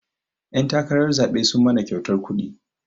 Ƴan takarar zaɓe sun mana kyautan kuɗi